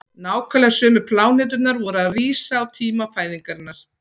nákvæmlega sömu pláneturnar voru að rísa á tíma fæðingarinnar